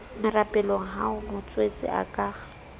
merapelong ha motswetse a ka